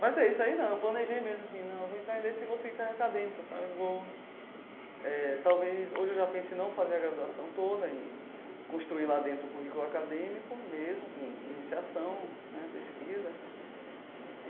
Mas é isso aí, não, eu planejei mesmo assim, não, eu vou entrar em Letras e vou seguir carreira acadêmica, sabe, vou eh... Talvez, hoje eu já pense em não fazer a graduação toda, em construir lá dentro um currículo acadêmico mesmo, com iniciação, né, pesquisa.